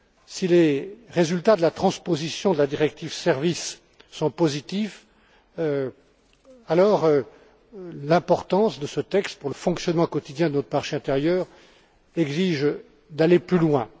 Si les résultats de la transposition de la directive sur les services sont positifs, alors l'importance de ce texte pour le fonctionnement quotidien de notre marché intérieur exige d'aller plus loin.